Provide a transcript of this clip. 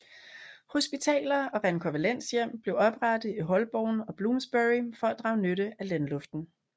Hospitaler og rekonvalescenthjem blev oprettet i Holborn og Bloomsbury for at drage nytte af landluften